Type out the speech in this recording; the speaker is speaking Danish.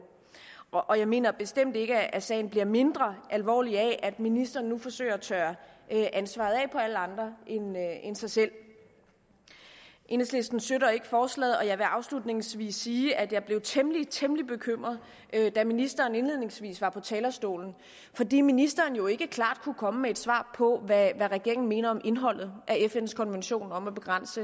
og jeg mener bestemt ikke at sagen bliver mindre alvorlig af at ministeren nu forsøger at tørre ansvaret af på alle andre end sig selv enhedslisten støtter ikke forslaget og jeg vil afslutningsvis sige at jeg blev temmelig temmelig bekymret da ministeren indledningsvis var på talerstolen fordi ministeren jo ikke klart kunne komme med et svar på hvad regeringen mener om indholdet af fns konvention om at begrænse